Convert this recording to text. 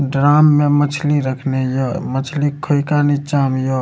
Drum में मछली रखने य मछली खोइका नीचा में य।